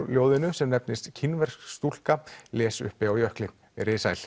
verðlaunaljóðinu sem nefnist kínversk stúlka les uppi á jökli veriði sæl